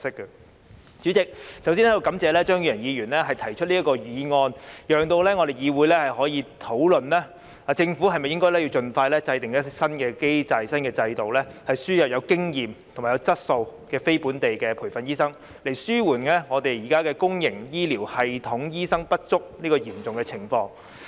代理主席，我要感謝張宇人議員提出這項議案，讓議會可以討論政府是否應盡快制訂新機制和新制度，輸入具有經驗和質素的非本地培訓醫生，以紓緩香港現時公營醫療系統醫生不足這嚴重情況。